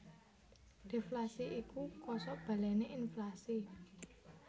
Deflasi iku kosok balené inflasi